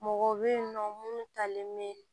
Mɔgɔw bɛ yen nɔ minnu talen bɛ